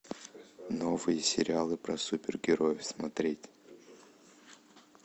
новые сериалы про супергероев смотреть